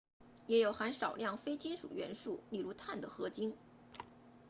也有含少量非金属元素例如碳的合金